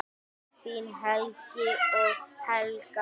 Þín Helgi og Helga.